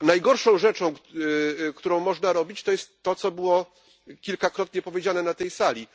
Najgorszą rzeczą, którą można robić, jest to, co było kilkakrotnie powiedziane na tej sali